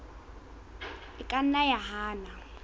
e ka nna ya hana